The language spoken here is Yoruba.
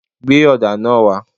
Gbé ọ̀dà náà wá.!